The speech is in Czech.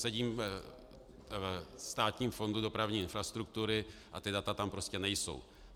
Sedím ve Státním fondu dopravní infrastruktury a ta data tam prostě nejsou.